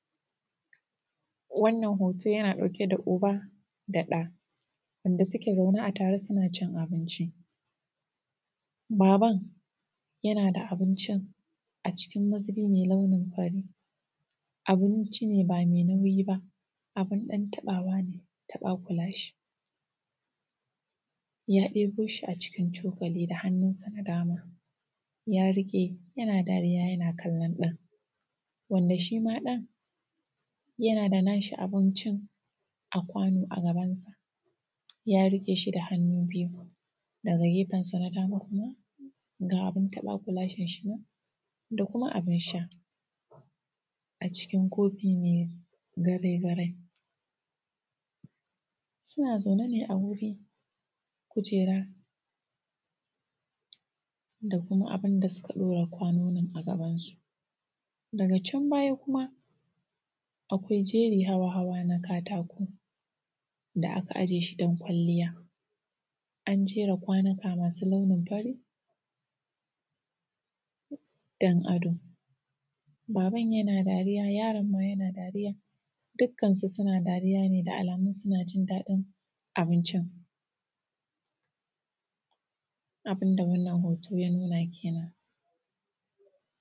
Wannan hooto yana ɗauke da uba da ɗa, wanda suke zaune a tare suna cin abinci. Baban yana da abincin acikin mazubi mai launin fari, abinci ne ba mai nauyi baa bin ɗan taɓaawa ne taɓakulashe. Ya ɗeboo shi acikin cokali da hannunsa na dama ya riƙe yana dariya yana kallon ɗan, wanda shima ɗan yana da naa shi abincin a kwanoo a gabansa ya riƙee shi da hannu biyu, daga gefensa na dama kuma ga abin taɓaa-kulaashen shi nan da kuma abin sha acikin kofii mai garai-garai. Suna zaune ne a wani kujeera da kuma abin da suka ɗaura kwanonin a gabansu. Daga can baya kuma akwai jeri na hawa na katako da aka ajiye shi don kwalliya an jera kwanuka masu launin fari don ado. Baban yana dariya yaron ma yana dariya dukkansu suna dariya ne da alamun suna jin daɗin abincin, abin da wannan hooto ya nuna kenan.